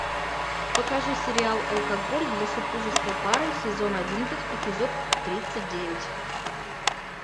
покажи сериал алкоголь для супружеской пары сезон одиннадцать эпизод тридцать девять